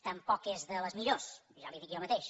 tampoc és de les millors ja li ho dic jo mateix